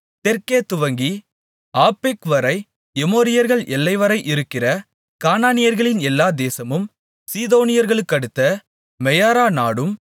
தெற்கே துவங்கி ஆப்பெக்வரை எமோரியர்கள் எல்லைவரை இருக்கிற கானானியர்களின் எல்லா தேசமும் சீதோனியர்களுக்கடுத்த மெயாரா நாடும்